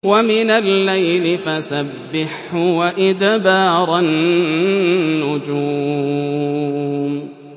وَمِنَ اللَّيْلِ فَسَبِّحْهُ وَإِدْبَارَ النُّجُومِ